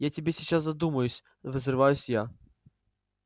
я тебе сейчас задумаюсь взрываюсь я